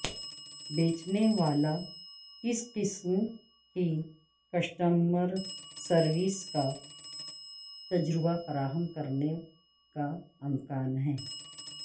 بیچنے والا کس قسم کی کسٹمر سروس کا تجربہ فراہم کرنے کا امکان ہے